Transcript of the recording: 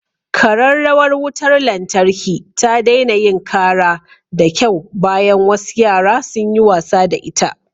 Kararrawar wutar lantarki ta daina yin kara da kyau bayan wasu yara sun yi wasa da ita.